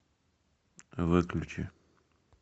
выключи